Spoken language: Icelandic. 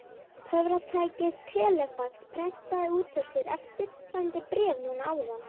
Töfratækið telefax prentaði út úr sér eftirfarandi bréf núna áðan.